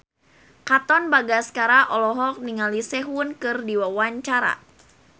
Katon Bagaskara olohok ningali Sehun keur diwawancara